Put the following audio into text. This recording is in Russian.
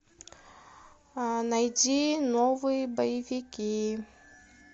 найди новые боевики